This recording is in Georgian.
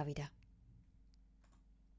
გავიდა